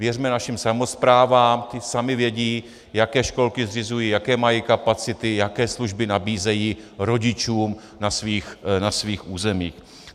Věřme našim samosprávám, ty samy vědí, jaké školky zřizují, jaké mají kapacity, jaké služby nabízejí rodičům na svých územích.